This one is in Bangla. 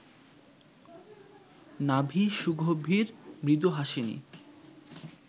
নাভি সুগভীর মৃদুহাসিনী